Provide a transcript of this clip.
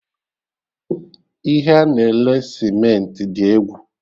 Ihe a na-ele Cementị dị egwu!